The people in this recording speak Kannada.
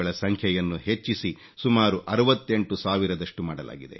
ಸಂಖ್ಯೆಯನ್ನು ಹೆಚ್ಚಿಸಿ ಸುಮಾರು 68 ಸಾವಿರದಷ್ಟು ಮಾಡಲಾಗಿದೆ